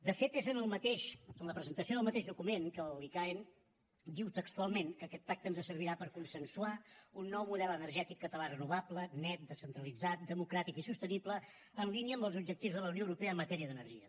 de fet és en la presentació del mateix document que l’icaen diu textualment que aquest pacte ens servirà per consensuar un nou model energètic català renovable net descentralitzat democràtic i sostenible en línia amb els objectius de la unió europea en matèria d’energia